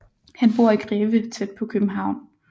Han bor i Greve tæt på København